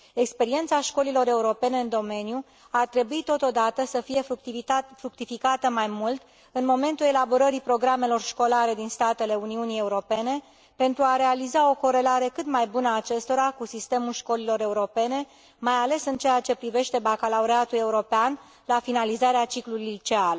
Experiența școlilor europene în domeniu ar trebui, totodată, să fie fructificată mai mult în momentul elaborării programelor școlare din statele Uniunii Europene pentru a realiza o corelare cât mai bună a acestora cu sistemul școlilor europene, mai ales în ceea ce privește bacalaureatul european la finalizarea ciclului liceal.